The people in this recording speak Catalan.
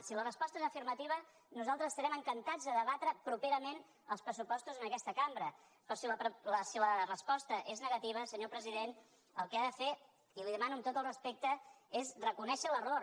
si la resposta és afirmativa nosaltres estarem encantats de debatre properament els pressupostos en aquesta cambra però si la resposta és negativa senyor president el que ha de fer i li ho demano amb tot el respecte és reconèixer l’error